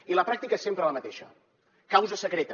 i la pràctica és sempre la mateixa causa secreta